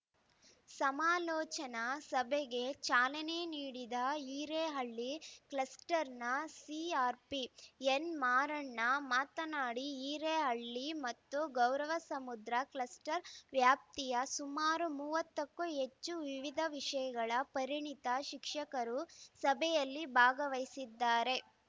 ಸಮಾಲೋಚನಾ ಸಭೆಗೆ ಚಾಲನೆ ನೀಡಿದ ಹಿರೇಹಳ್ಳಿ ಕ್ಲಸ್ಟರ್‌ನ ಸಿಆರ್‌ಪಿ ಎನ್‌ಮಾರಣ್ಣ ಮಾತನಾಡಿ ಹಿರೇಹಳ್ಳಿ ಮತ್ತು ಗೌರಸಮುದ್ರ ಕ್ಲಸ್ಟರ್‌ ವ್ಯಾಪ್ತಿಯ ಸುಮಾರು ಮೂವತ್ತಕ್ಕೂ ಹೆಚ್ಚು ವಿವಿಧ ವಿಷಯಗಳ ಪರಿಣಿತ ಶಿಕ್ಷಕರು ಸಭೆಯಲ್ಲಿ ಗವಹಿಸಿದ್ದಾರೆ